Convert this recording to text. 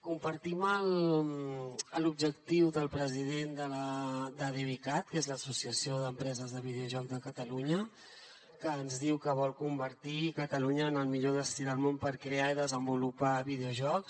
compartim l’objectiu del president de devicat que és l’associació d’empreses de videojocs de catalunya que ens diu que vol convertir catalunya en el millor destí del món per crear i desenvolupar videojocs